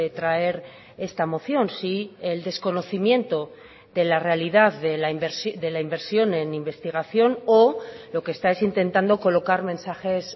traer esta moción si el desconocimiento de la realidad de la inversión en investigación o lo que está es intentando colocar mensajes